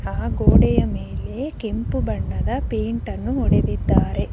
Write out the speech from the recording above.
ಆ ಗೋಡೆಯ ಮೇಲೆ ಕೆಂಪು ಬಣ್ಣದ ಪೈಂಟನ್ನು ಹೊಡೆದಿದ್ದಾರೆ.